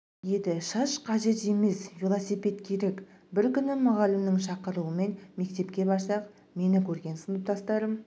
еді шаш қажет емес велосипед керек бір күні мұғалімнің шақыруымен мектепке барсақ мені көрген сыныптастарым